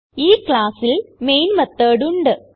ഈ ക്ലാസ്സിൽ main method ഉണ്ട്